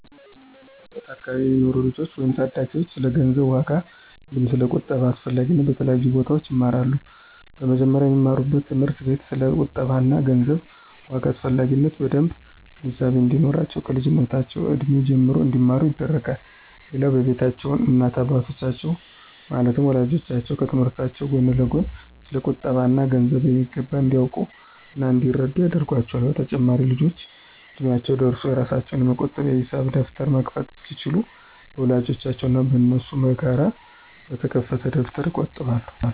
እኛ በምንኖርበት አከባቢ የሚኖሩ ልጆች ወይም ታዳጊዎች ስለ ገንዘብ ዋጋ አንዲሁም ስለ ቁጠባ አስፈላጊነት በተለያዩ ቦታዎች ይማራሉ። በመጀመሪያም በሚማሩበት ትምህርት ቤት ስለ ቁጠባ እና ገንዘብ ዋጋ አስፈላጊነት በደምብ ግንዛቤ እንዲኖራቸው ከልጅነት እድሜያቸው ጀምሮ እንዲማሩ ይደረጋል። ሌላው በቤታቸውም እናት እና አባቶቻቸው ማለትም ወላጆቻቸው ከትምህርታቸው ጎን ለጎን ስለ ቁጠባ እና ገንዘብ በሚገባ እንዲያውቁ እና እንዲረዱት ያደርጓቸዋል። በተጨማሪም ልጆቹ እድሚያቸው ደርሶ የራሳቸውን የመቆጠቢያ የሂሳብ ደብተር መክፈት እስኪችሉ በወላጆቻቸው እና በነሱ በጋራ በተከፈተ ደብተር ይቆጥቡላቸዋል።